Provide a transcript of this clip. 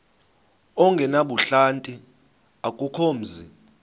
ongenabuhlanti akukho mzi